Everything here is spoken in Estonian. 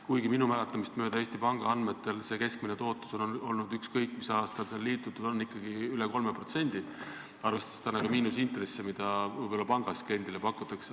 Kuigi minu mäletamist mööda on Eesti Panga andmetel fondide keskmine tootlus olnud – ükskõik mis aastal on liitutud –, ikkagi üle 3%, arvestades täna ka miinusintresse, mida pangas võib-olla kliendile pakutakse.